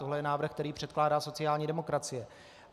Tohle je návrh, který předkládá sociální demokracie.